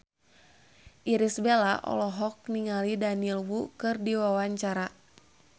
Irish Bella olohok ningali Daniel Wu keur diwawancara